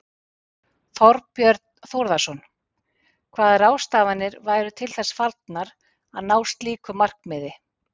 Þorbjörn Þórðarson: Hvaða ráðstafanir væru til þess fallnar að ná slíku markmiði?